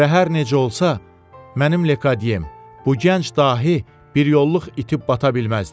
Və hər necə olsa, mənim Lekadyem, bu gənc dahi biryolluq itib bata bilməzdi.